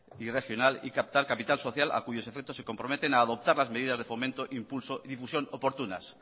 y regional y captar capital social a cuyos efectos se comprometen a adoptar las medidas de fomento impulso y difusión oportunas